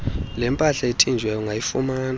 lempahla ethinjiweyo ungayifumana